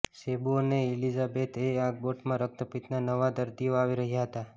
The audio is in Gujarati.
સેબુ અને ઇલિઈલોથી એ આગબોટમાં રક્તપિત્તના નવા દરદીઓ આવી રહ્યા હતા